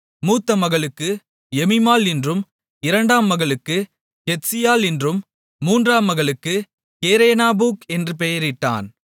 மூத்த மகளுக்கு எமீமாள் என்றும் இரண்டாம் மகளுக்குக் கெத்சீயாள் என்றும் மூன்றாம் மகளுக்குக் கேரேனாப்புக் என்றும் பெயரிட்டான்